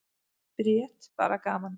Bríet: Bara gaman.